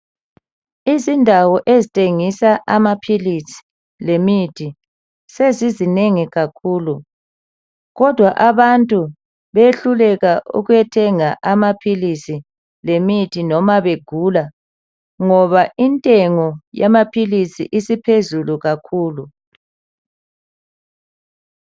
Izindawo ezithengisa amapills lemithi sezinengi kakhulu kodwa abantu bayehluleka ukuthenga amapills lemithi loba begula ngoba intengo yamapills isiphezulu kakhulu